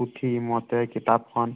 পুঠিমতে কিতাপখন